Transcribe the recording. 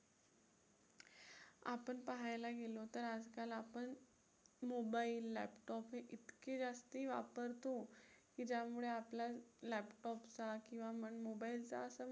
आपण पाहायला गेलो तर आजकाल आपण mobile, laptop हे इतके जास्तही वापरतो. की ज्यामुळे आपला laptop चा किंवा mobile चा